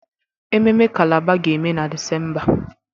Ememme Calabar ga-eme na Disemba